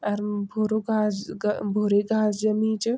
अर वू भुरू घास ग भूरी घास जमी च।